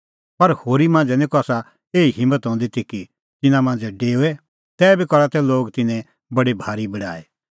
पर होरी मांझ़ै निं कसा एही हिम्मत हंदी ती कि तिन्नां मांझ़ै डेओए तैबी करा तै लोग तिन्नें बडी भारी बड़ाई